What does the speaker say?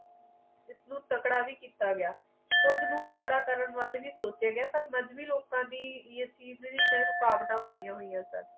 ਇਸ ਨੂੰ ਤਕੜਾ ਵੀ ਕੀਤਾ ਗਿਆ ਕੁੱਜ ਨੂੰ ਤਕੜਾ ਕਰਨ ਵਾਲੇ ਵੀ ਸੋਚੇ ਗਏ ਪਰ ਮਦਵੀ ਲੋਕਾਂ ਯੂਕਰਿਨ ਨੇ ਰੁਕਾਵਟਾਂ ਪਾਇਆ ਹੋਈਆਂ ਸਨ